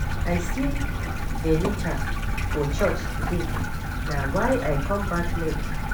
I see Benita for church today na why I come back late.